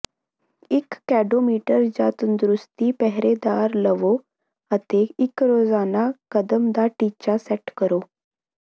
ਇੱਕ ਕੈਡੋਮੀਟਰ ਜਾਂ ਤੰਦਰੁਸਤੀ ਪਹਿਰੇਦਾਰ ਲਵੋ ਅਤੇ ਇੱਕ ਰੋਜ਼ਾਨਾ ਕਦਮ ਦਾ ਟੀਚਾ ਸੈਟ ਕਰੋ